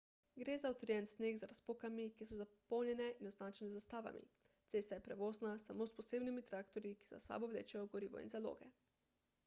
gre za utrjen sneg z razpokami ki so zapolnjene in označene z zastavami cesta je prevozna samo s posebnimi traktorji ki za sabo vlečejo gorivo in zaloge